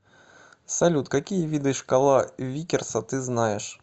салют какие виды шкала виккерса ты знаешь